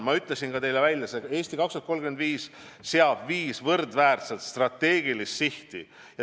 Ma ütlesin juba teile välja, et "Eesti 2035" seab viis võrdväärselt strateegilist sihti.